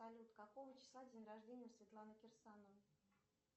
салют какого числа день рождения у светланы кирсановой